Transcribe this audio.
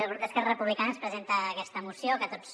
el grup d’esquerra republicana presenta aquesta moció que tots